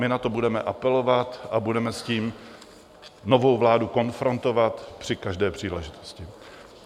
My na to budeme apelovat a budeme s tím novou vládu konfrontovat při každé příležitosti.